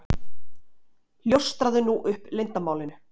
Ljóstraðu nú upp leyndarmálinu.